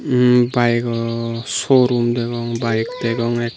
hmm byego showroom degong bike degong ek.